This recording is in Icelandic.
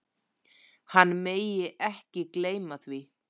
Hann megi ekki gleyma því.